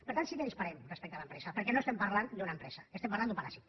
per tant sí que disparem respecte a l’empresa perquè no estem parlant d’una empresa estem parlant d’un paràsit